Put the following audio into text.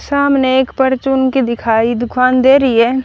सामने एक परचून की दिखाई दुकान दे रही है।